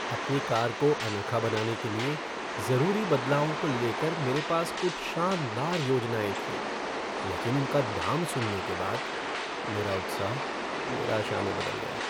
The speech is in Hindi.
अपनी कार को अनोखा बनाने के लिए जरूरी बदलावों को लेकर मेरे पास कुछ शानदार योजनाएँ थीं, लेकिन उनका दाम सुनने के बाद मेरा उत्साह निराशा में बदल गया।